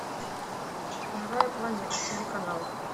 живая планета телеканал